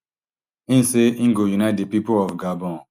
e say im go unite di pipo of gabon